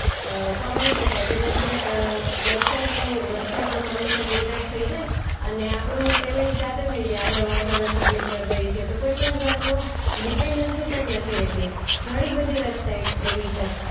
અ કમાય શકાય છે. જેમકે અ વેબસાઈટનું વેબસાઈટનું કમિશન ડિડક્ટ થઈ જાય એન આપણું પેમેન્ટ જાતે થઈ જાય આપણે વર્ક અગર સબમિટ કર દઈએ છીએ. તો કોઈ પણ જાતનું ડિપેન્ડન્સી પણ નથી રહેતી. ઘણીબધી વેબસાઈટ્સ એવી છે.